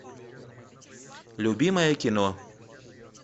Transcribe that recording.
любимое кино